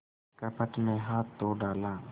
कपट में हाथ तो डाला